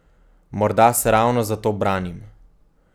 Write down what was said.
Morda se ravno zato branim.